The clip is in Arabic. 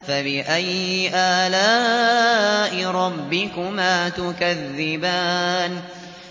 فَبِأَيِّ آلَاءِ رَبِّكُمَا تُكَذِّبَانِ